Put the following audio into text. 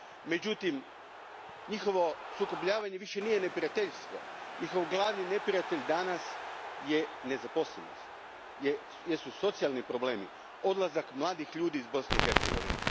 Međutim, njihovo sukobljavanje više nije neprijateljstvo, njihov glavni neprijatelj danas su nezaposlenost, socijalni problemi, odlazak mladih iz Bosne i Hercegovine.